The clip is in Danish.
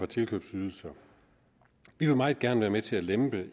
tilkøbsydelser vi vil meget gerne være med til at lempe